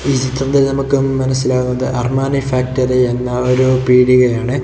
ഈ ചിത്രത്തിൽ നമുക്ക് മനസിലാവുന്നത് അർമാനെ ഫാക്ടറി എന്നൊരു പീടികയാണ്.